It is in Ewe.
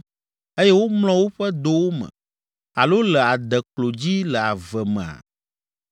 eye womlɔ woƒe dowo me alo le adeklo dzi le ave mea?